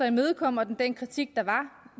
imødekommer den den kritik der var